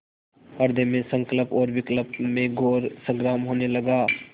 हृदय में संकल्प और विकल्प में घोर संग्राम होने लगा